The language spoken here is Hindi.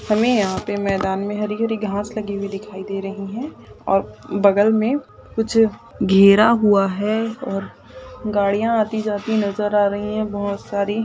हमे यहा पे मैदान मे हरी-हरी घास लगी हुई दिखाई दे रही है और बगल मे कुछ गिरा हुआ है और गाड़िया आती-जाती नज़र आ रही है बहुत सारी --